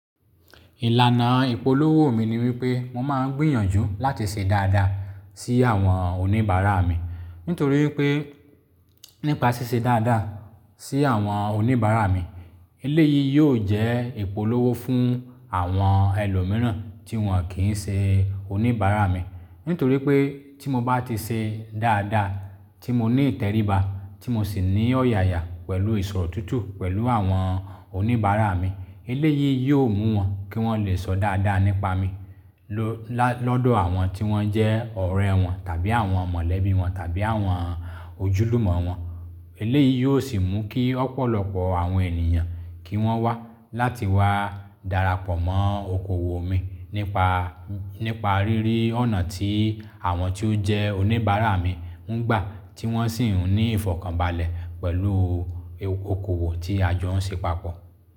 Ìlànà ìpolówó mi ni wípé mo máa ń gbìyànjú láti ṣe dáadáa sí àwọn oníbàárà mi. Nítorí wípé nípa ṣíṣe dáadáa sí àwọn oníbàárà mi, eléyìí yóò jẹ́ ìpolówó fún àwọn ẹlòmíràn tí wọ́n kì í ṣe oníbàárà mi. Nítorí pé tí mo bá ti ṣe dáadáa, tí mo ní ìtẹríba, tí mo sì ní ọ̀yàyà pẹ̀lú ìsọ̀rọ̀tútù pẹ̀lú àwọn oníbàárà mi, eléyìí yóò mú wọn kí wọ́n lè sọ dáadáa nípa mi lọ́dọ̀ àwọn tí wọ́n jẹ́ ọ̀rẹ́ wọn tàbí àwọn mọ̀lẹ́bí wọn tàbí àwọn ojúlùmọ̀ wọn. Eléyìí yóò sì mú kí ọ̀pọ̀lọpọ̀ àwọn ènìyàn kí wọ́n wá láti wá darapọ̀ mọ́ okòwò mi nípa, nípa rírí ọ̀nà tí àwọn tí ó jẹ́ oníbàárà mi ń gbà tí wọ́n sì ń ní ìfọ̀kànbalẹ̀ pẹ̀lú okòwò tí a jọ ń ṣe papọ̀